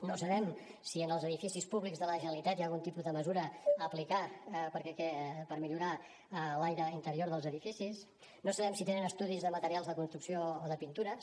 no sabem si en els edificis públics de la generalitat hi ha algun tipus de mesura a aplicar per millorar l’aire interior dels edificis no sabem si tenen estudis de materials de construcció o de pintures